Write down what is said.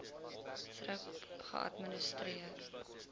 thrip geadministreer